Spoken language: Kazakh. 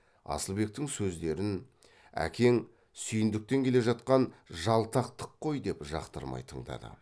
асылбектің сөздерін әкең сүйіндіктен келе жатқан жалтақтық қой деп жақтырмай тыңдады